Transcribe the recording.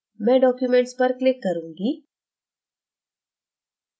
मैं documents पर click करूंगी